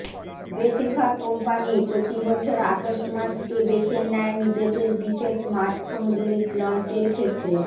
বেশিরভাগ কোম্পানিই প্রতিবছর আগস্ট মাস কে বেছে নেয় নিজেদের বিশেষ স্মার্টফোনগুলি লঞ্চের ক্ষেত্রে